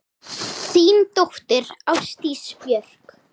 Þín dóttir, Ásdís Björk.